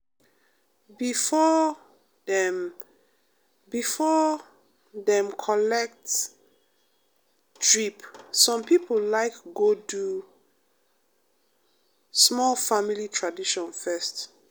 before um dem before um dem collet um drip some pipo like go do um small family tradition fess.